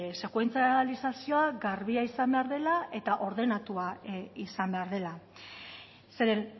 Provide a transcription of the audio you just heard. sekuentsalizazioa garbia izan behar dela eta ordenatua izan behar dela zeren